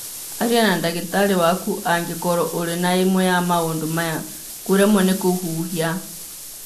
Aria na ndagĩtarĩ waku angĩkorũo ũrĩ na ĩmwe ya maũndũ maya:kũremwo nĩ kũhuhia.